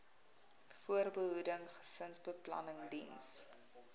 voorbehoeding gesinsbeplanning diens